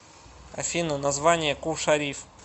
афина название кул шариф